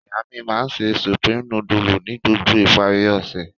Iya mi ma n se Supreme nudulu ni gbogbo ipari ose.